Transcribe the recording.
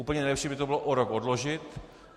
Úplně nejlepší by to bylo o rok odložit.